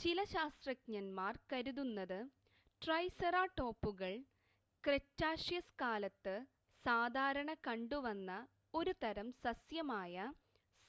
ചില ശാസ്ത്രജ്ഞന്മാർ കരുതുന്നത് ട്രൈസെറാടോപ്പുകൾ ക്രെറ്റാഷ്യസ് കാലത്ത് സാധാരണ കണ്ടുവന്ന ഒരു തരം സസ്യമായ